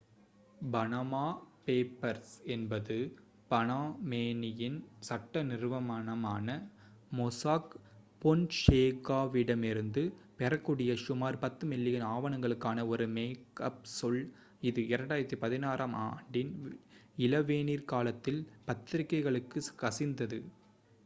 """Panama papers" என்பது Panamanian சட்ட நிறுவனமான மொசாக் ஃபொன்சேகாவிடமிருந்து பெறக்கூடிய சுமார் பத்து மில்லியன் ஆவணங்களுக்கான ஒரு மேக்அப் சொல் இது 2016-ஆம் ஆண்டின் இளவேனிற்காலத்தில் பத்திரிகைகளுக்குக் கசிந்தது.